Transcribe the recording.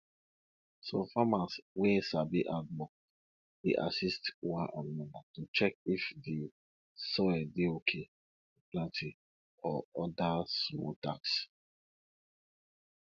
some farmers wey sabi handwork dey assist one another to check if the soil dey okay for planting or other small tasks